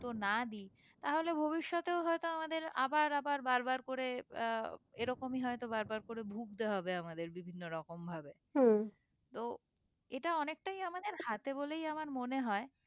না দিই তাহলে ভবিষতেও হয়তো আমাদের আবার বার বার করে আহ এরকমই হয়তো বার বার করে ভুগতে হবে আমাদের বিভিন্ন রকম ভাবে তো এটা অনেকটাই আমাদের হাতে বলেই আমার মনে হয়ে